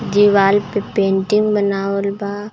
दीवाल पे पेंटिंग बनावल बा.